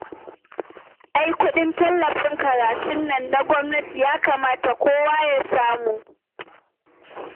Ai kuɗin tallafin karatun nan na gwamnati, ya kamata kowa ya samu